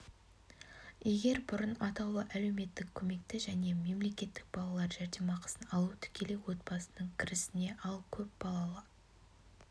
егер бұрын атаулы әлеуметтік көмекті және мемлекеттік балалар жәрдемақысын алу тікелей отбасының кірісіне ал көп балалы